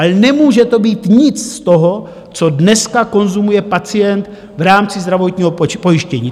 Ale nemůže to být nic z toho, co dneska konzumuje pacient v rámci zdravotního pojištění.